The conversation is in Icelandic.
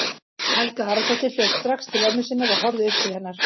Helga Aradóttir hljóp strax til ömmu sinnar og horfði upp til hennar.